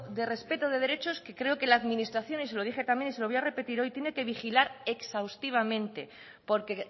de respeto de derechos que creo que la administración y se lo dije también y se lo voy a repetir hoy tiene que vigilar exhaustivamente porque